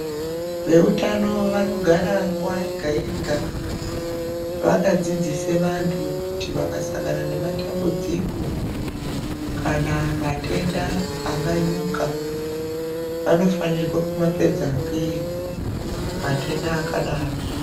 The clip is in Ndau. Veutano vanogara nguwa yega yega vakadzidzise vantu kuti vakasangana nematambudziko kana matenda anganyuka vanofanirwa kumapedza ngeyi matenda akadaro.